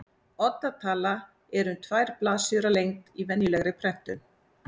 Odda tala er um tvær blaðsíður að lengd í venjulegri prentun.